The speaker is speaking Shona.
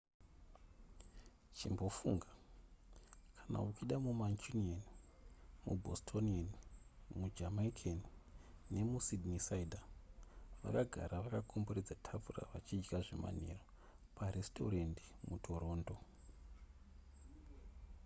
chimbofunga kana uchida mumancunian mubostonian mujamaican nemusydneysider vakagara vakakomberedza tafura vachidya zvemanheru paresitorendi mutoronto